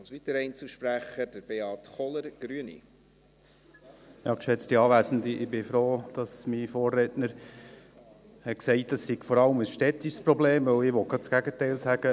Ich bin froh, dass mein Vorredner sagte, es sei vor allem ein städtisches Problem, denn ich will genau das Gegenteil sagen.